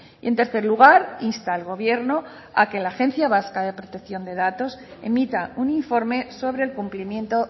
y en tercer lugar insta al gobierno a que la agencia vasca de protección de datos emita un informe sobre el cumplimiento